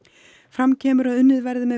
fram kemur að unnið verði með